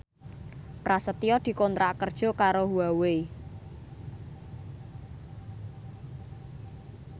Prasetyo dikontrak kerja karo Huawei